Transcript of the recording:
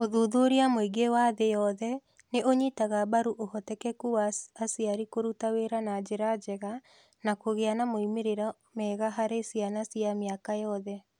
Ũthuthuria mũingĩ wa thĩ yothe nĩ ũnyitaga mbaru ũhotekeku wa aciari kũruta wĩra na njĩra njega na kũgĩa na moimĩrĩro mega harĩ ciana cia mĩaka yothe.